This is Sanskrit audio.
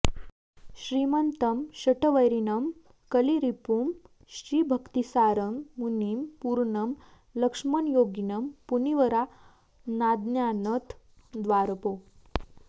श्रीमन्तं शठवैरिणं कलिरिपुं श्रीभक्तिसारं मुनिं पूर्णं लक्ष्मणयोगिनं मुनीवरानाद्यानथ द्वारपौ